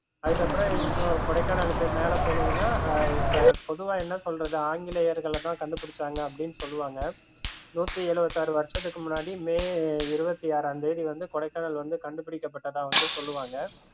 அதுக்கப்பறம் இன்னும் கொடைக்கானல்லுக்கு மேல போனிங்கன்னா அஹ் இப்போ பொதுவா என்ன சொல்லறது? ஆங்கிலேயர்கள் தான் கண்டுபிடிச்சாங்கன்னு அப்படின்னு சொல்லுவாங்க நூத்தி எழுவத்தாறு வருஷத்துக்கு முன்னாடி மே இருவத்தி ஆறாம் தேதி வந்து கொடைக்கானல் வந்து கண்டுடிக்கபட்டதா வந்து சொல்லுவாங்க